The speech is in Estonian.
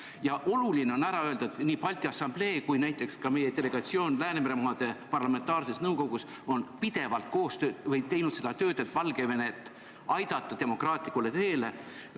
Ja oluline on öelda, et nii Balti Assamblee kui ka näiteks meie delegatsioon Läänemere maade parlamentaarses nõukogus on pidevalt teinud seda tööd, et aidata Valgevenet demokraatlikule teele.